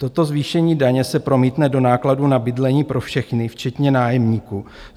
Toto zvýšení daně se promítne do nákladů na bydlení pro všechny, včetně nájemníků.